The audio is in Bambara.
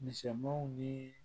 Misɛnmanw ni